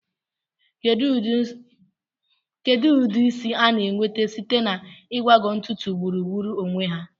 Kedu ụdị isi a na-enweta site na ịgbagọ ntutu gburugburu onwe ya?